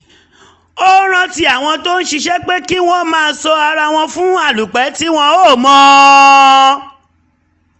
ó rántí àwọn tó ń ṣiṣẹ́ pé kí wọ́n má sọ ara wọn fún alúpẹ̀ tí wọ́n ò mọ̀